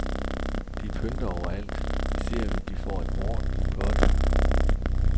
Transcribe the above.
De pynter overalt, især hvis de får en ordentlig potte.